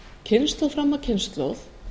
kynslóð fram af kynslóð